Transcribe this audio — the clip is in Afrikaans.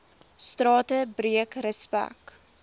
strate breek respek